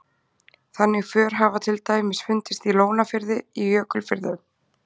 Þannig för hafa til dæmis fundist í Lónafirði í Jökulfjörðum.